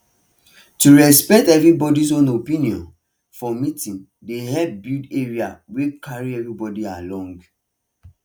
to respect everybody own opinion for meeting dey help build area wey carry everybody along